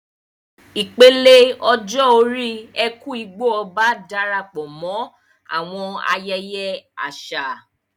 Ìpele ọjọ́ orí "Eku-Igbo-Oba" Darapọ̀ mọ́ àwọn ayẹyẹ àṣà